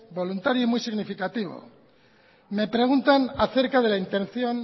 voluntario y muy significativo me preguntan acerca de la intención